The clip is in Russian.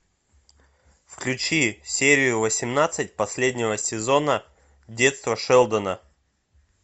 включи серию восемнадцать последнего сезона детство шелдона